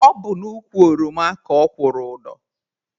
Ọ bụ n'ukwu ọroma ka ọ kwụrụ ụdọ.